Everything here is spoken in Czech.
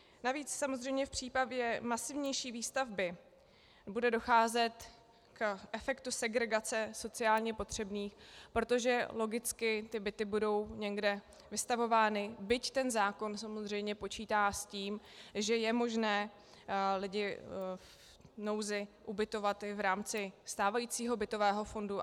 Navíc samozřejmě v případě masivnější výstavby bude docházet k efektu segregace sociálně potřebných, protože logicky ty byty budou někde vystavovány, byť ten zákon samozřejmě počítá s tím, že je možné lidi v nouzi ubytovat i v rámci stávajícího bytového fondu.